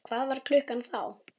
Hvað var klukkan þá?